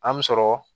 An mi sɔrɔ